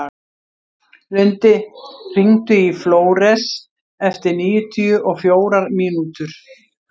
Lundi, hringdu í Flóres eftir níutíu og fjórar mínútur.